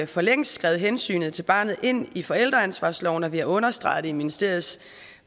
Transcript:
for længst skrevet hensynet til barnet ind i forældreansvarsloven og vi har understreget det i ministeriets